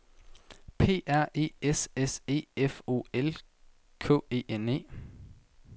P R E S S E F O L K E N E